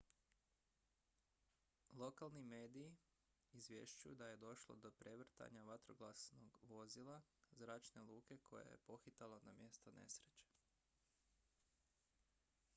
lokalni mediji izvješćuju da je došlo do prevrtanja vatrogasnog vozila zračne luke koje je pohitalo na mjesto nesreće